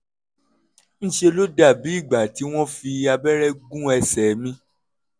ń ṣe ló dàbí ìgbà tí wọ́n fi abẹ́rẹ́ gún ẹsẹ̀ mi